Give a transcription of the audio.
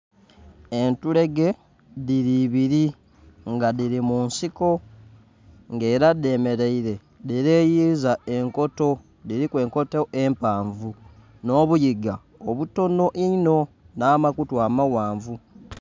entulege dhiri ebiri nga dhiri mu nsiko nga era dhemereire dhi leeyiza enkoto, dhiriku enkoto empavu nho buyiga obutonho inho nha ma kutu amaghanvu.